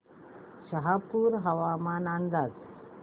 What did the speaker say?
शहापूर हवामान अंदाज